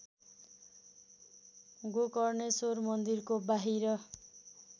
गोकर्णेश्वर मन्दिरको बाहिर